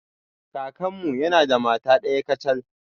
Kakanmu yana da mata daya kacal.